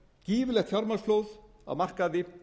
gífurlegt fjármagnsflóð á markaði